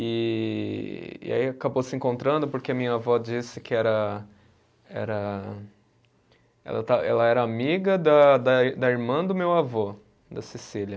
E e aí acabou se encontrando porque a minha vó disse que era, era ela ta, ela era amiga da da da irmã do meu avô, da Cecília.